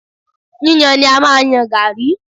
Yíyàn ni a máa ń yan Garri.